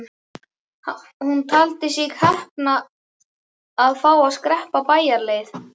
Hún taldi sig heppna að fá að skreppa bæjarleið.